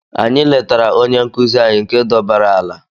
Anyị letara onye nkụzi anyị nke dọbaara ala.